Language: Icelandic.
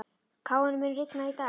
Káinn, mun rigna í dag?